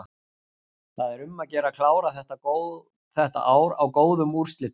Það er um að gera að klára þetta ár á góðum úrslitum.